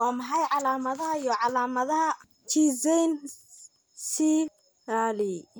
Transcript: Waa maxay calaamadaha iyo calaamadaha Schizencephaly?